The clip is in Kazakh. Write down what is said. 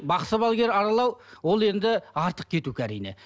бақсы балгер аралау ол енді артық кету әрине